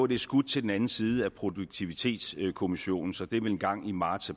det er skudt til den anden side af produktivitetskommissionens rapport så det er vel engang i marts